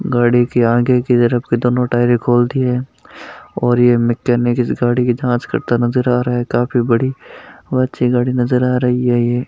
गाडी की आगे की तरफ के दोनों टायरे खोल दी है और ये मैकेनिक इस गाडी की जांच करता नज़र आ रहा है काफी बड़ी अच्छी गाडी नज़र आ रही है ये।